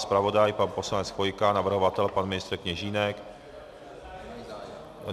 Zpravodaj pan poslanec Chvojka, navrhovatel pan ministr Kněžínek?